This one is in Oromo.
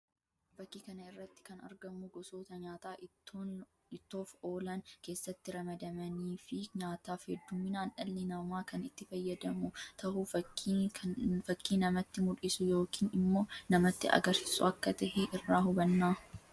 Fakkii kana irratti kan argamu gosoota nyaataa ittoof oolaan keessatti ramadamanii fi nyaataaf hedduminaan dhalli namaa kan itti fayyadamu tahuu fakkii namatti mullisu yookiin immoo namatti agarsiisu akka tahee irraa hubanna.